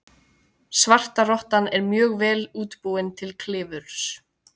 Svartrottan er mjög vel útbúin til klifurs.